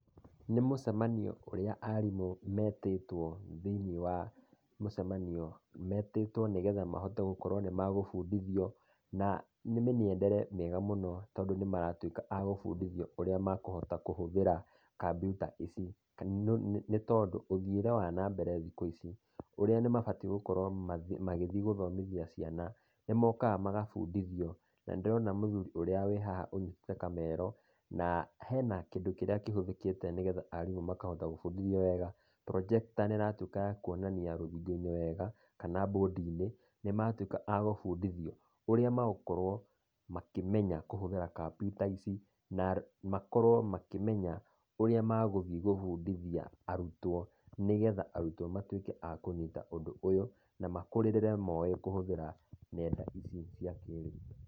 Nĩ mũcemanio ũrĩa arimũ metĩtwo thĩiniĩ wa mũcemanio, metĩtwo nĩgetha gũkorwo nĩ megũbundithio. Na nĩ mĩng'endere mĩega mũno tondũ nĩ meratũĩka a gũbũndithio ũrĩa mekũkũhũthĩra kampyuta ici, kana nĩ tondũ ũthiĩre wa nambere thikũ ici, ũrĩa mabatiĩ gũkorwo magĩthiĩ gũthomithia ciana. Nĩ mokaga magabundithio. Na nĩ ndĩrona mũthuri wĩhaha anyitĩte kamero, na hena kĩndũ kĩrĩa kĩhũthĩkĩte nĩgetha arimũ makahota gũbundithia wega, projector nĩ ĩratũĩka ya kuonania rũthingo-inĩ wega, kana mbũndi-inĩ, nĩmatũika a gũbundithio ũrĩa magũkorwo makĩmenya kũhũthĩra kampyuta ici na makorwo makĩmenya ũrĩa megũthiĩ gũbũndithia arutwo, nĩgetha arutwo matuĩke a kũnyita ũndũ ũyũ, na makũrĩrĩre moĩ kũhũthĩra ng'enda ici cia kĩĩrĩu.